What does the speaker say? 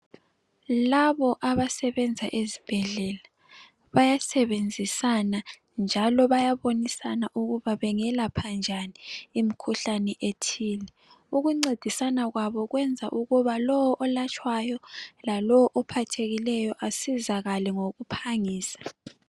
Labo abasebenza ezibhedlela bayasebenzisana njalo bayabonisana ukuba bengelapha njani imikhuhlane ethile. Ukuncedisana kwabo kwenza ukuba lowo olatshwayo lalowo ophathekileyo asizakale ngokuphangisa.